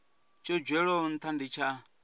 tsho dzhielwaho ntha ndi tsha